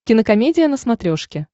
кинокомедия на смотрешке